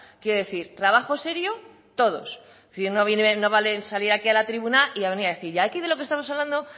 quiero decir trabajo serio todos en fin no vale salir aquí a la tribuna y a venir a decir y aquí de lo que estamos hablando